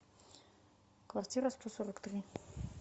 квартира сто сорок три